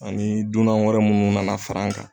Ani dunan wɛrɛ munnu nana far'an kan